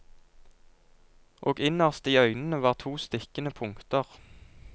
Og innerst i øynene var to stikkende punkter.